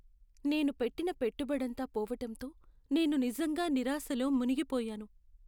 నేను పెట్టిన పెట్టుబడంతా పోవటంతో నేను నిజంగా నిరాశలో మునిగిపోయాను.